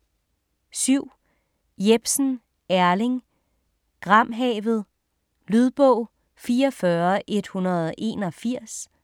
7. Jepsen, Erling: Gramhavet Lydbog 44181